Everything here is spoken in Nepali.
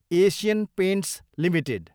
Asian Paints Ltd